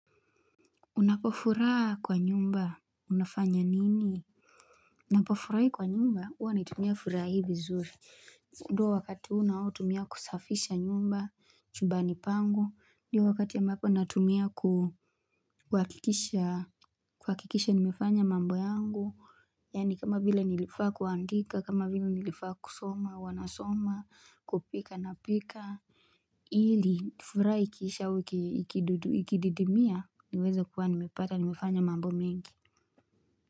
Unapofurahaa kwa nyumba unafanya nini? Napofurahi kwa nyumba huwa ninaitumia furaha hii vizuri ndo wakati unaotumia kusafisha nyumba chubani pangu ndio wakati ambapo natumia ku kuhakikisha kuhakikisha nimefanya mambo yangu yani kama vile nilifaa kuandika kama vile nilifaa kusoma huwa nasoma kupika napika Ili furaha ikisha au ikikididimia niweze kuwa nimepata nimefanya mambo mingi.